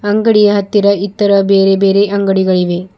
ಅಂಗಡಿಯ ಹತ್ತಿರ ಇತರ ಬೇರೆ ಬೇರೆ ಅಂಗಡಿಗಳಿವೆ.